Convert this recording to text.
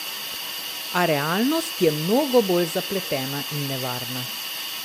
A realnost je mnogo bolj zapletena in nevarna.